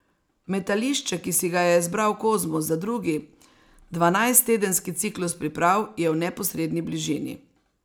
Metališče, ki si ga je izbral Kozmus za drugi dvanajsttedenski ciklus priprav, je v neposredni bližini.